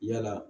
Yala